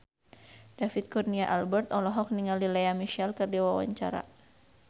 David Kurnia Albert olohok ningali Lea Michele keur diwawancara